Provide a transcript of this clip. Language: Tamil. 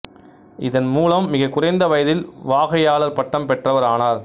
இதன்மூலம் மிகக் குறைந்த வயதில் வாகையாளர் பட்டம் பெற்றவர் ஆனார்